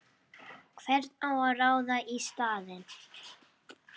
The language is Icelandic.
Og hvern á að ráða í staðinn?!